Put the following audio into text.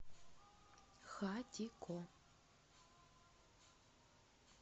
хатико